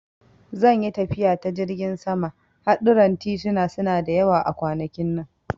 Zan yi tafiya ta jirgin sama, hadurran tituna suna da yawa a kwanakin nan.